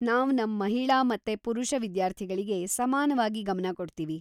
ನಾವ್‌ ನಮ್‌ ಮಹಿಳಾ ಮತ್ತೆ ಪುರುಷ ವಿದ್ಯಾರ್ಥಿಗಳಿಗೆ ಸಮಾನವಾಗಿ ಗಮನ ಕೊಡ್ತೀವಿ.